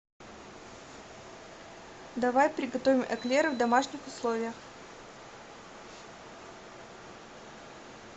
давай приготовим эклеры в домашних условиях